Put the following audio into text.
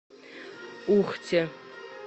ухте